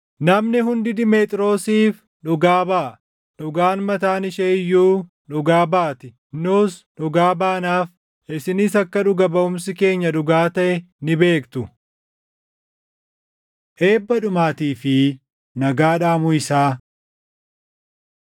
Namni hundi Dimeexiroosiif dhugaa baʼa; dhugaan mataan ishee iyyuu dhugaa baati. Nus dhugaa baanaaf; isinis akka dhuga baʼumsi keenya dhugaa taʼe ni beektu. Eebba Dhumaatii fi Nagaa Dhaamuu Isaa